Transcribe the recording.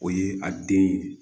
O ye a den ye